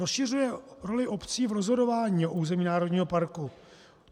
Rozšiřuje roli obcí v rozhodování na území národního parku.